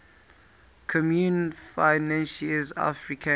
communaute financiere africaine